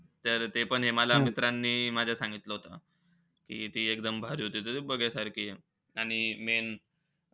तर तेपण हे मला माझ्या मित्रांनी सांगतलं होतं. की ती एकदम भारी होती. एकदम बघायसारखी होती. आणि main,